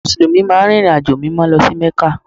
Mùsùlùmí máa ń rìnrìnàjò Mímọ́ lọ sí Mẹ́kà